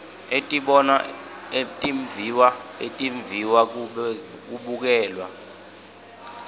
etibonwa etimviwa etimviwabukelwa